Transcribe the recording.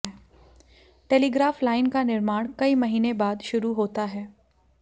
telegraph line का निर्माण कई महीने बाद शुरू होता है